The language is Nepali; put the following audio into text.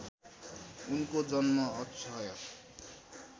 उनको जन्म अक्षय